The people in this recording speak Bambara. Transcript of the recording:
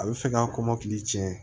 A bɛ fɛ k'a kɔmɔkili tiɲɛ